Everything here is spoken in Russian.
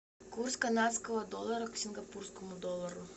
курс канадского доллара к сингапурскому доллару